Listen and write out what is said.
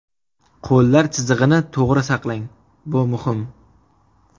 Qo‘llar chizig‘ini to‘g‘ri saqlang, bu muhim.